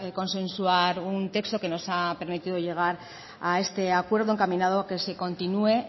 consensuar un texto que nos ha permitido llegar a este acuerdo encaminado a que se continúe